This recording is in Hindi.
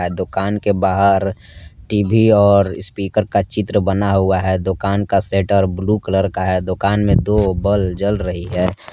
दुकान के बाहर टी_वी और स्पीकर का चित्र बना हुआ है दुकान का सेटर ब्ल्यू कलर का है दुकान में दो बल्ब जल रही है।